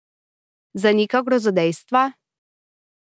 Zanika grozodejstva?